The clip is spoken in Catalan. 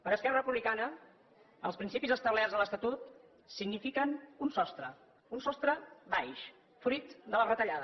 per esquerra republicana els principis establerts a l’estatut signifiquen un sostre un sostre baix fruit de la retallada